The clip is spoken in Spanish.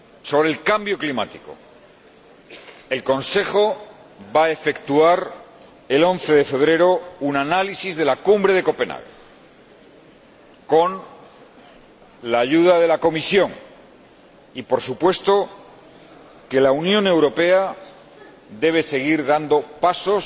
Sobre el cambio climático, el Consejo va a efectuar el 11 de febrero un análisis de la Cumbre de Copenhague, con la ayuda de la Comisión y, por supuesto, que la Unión Europea debe seguir dando pasos